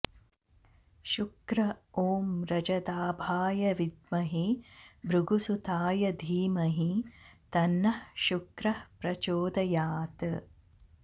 शुक्र ॐ रजदाभाय विद्महे भृगुसुताय धीमहि तन्नः शुक्रः प्रचोदयात्